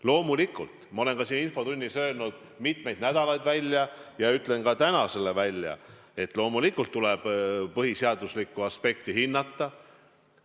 Loomulikult, ma olen ka siin infotunnis mitmeid nädalaid öelnud ja ütlen ka täna välja selle, et loomulikult tuleb põhiseaduslikku aspekti hinnata.